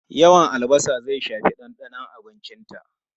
Yawan albasa zai shafi dandanon abincinta.